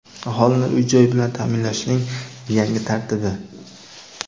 Aholini uy-joy bilan taʼminlashning yangi tartibi.